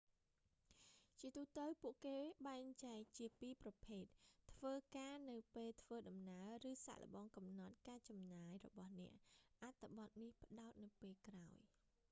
ជាទូទៅពួកគេបែកចែកជាពីរប្រភេទ៖ ធ្វើការនៅពេលធ្វើដំណើរឬសាកល្បងកំនត់ការចំណាយរបស់អ្នក អត្ថបទនេះផ្តោតនៅពេលក្រោយ